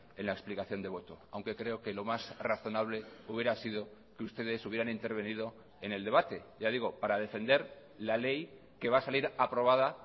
en la explicación de voto aunque creo que lo más razonable hubiera sido que ustedes hubieran intervenido en el debate ya digo para defender la ley que va a salir aprobada